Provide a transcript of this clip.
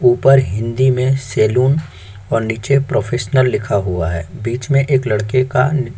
ऊपर हिंदी में सैलून और नीचे प्रोफेशनल लिखा हुआ है बीच में एक लड़के का --